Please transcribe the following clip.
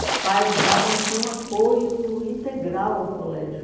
Os pais davam assim um apoio integral ao colégio.